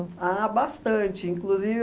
Ah, bastante, inclusive...